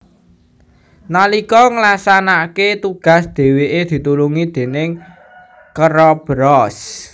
Nalika nglaksanakake tugas dheweke ditulungi déning keroberos